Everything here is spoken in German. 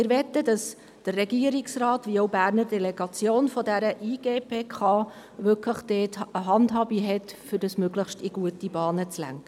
Wir möchten, dass der Regierungsrat sowie die Berner Delegation der IGPK eine Handhabe haben, um das Ganze in möglichst gute Bahnen zu lenken.